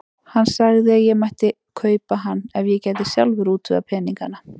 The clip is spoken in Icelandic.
Hann sagði að ég mætti kaupa hann ef ég gæti sjálfur útvegað peningana.